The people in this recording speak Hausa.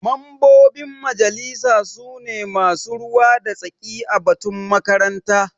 Mambobin majalisa su ne masu ruwa da tsaki a batun makaranta.